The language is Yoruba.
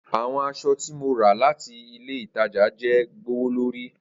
Awọn aṣọ ti mo ra lati ile itaja jẹ gbowolori.